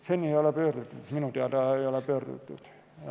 Seni ei ole nad minu teada pöördunud.